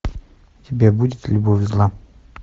у тебя будет любовь зла